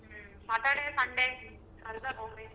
ಹ್ಮ್, Saturday Sunday ಹೋಗಿ.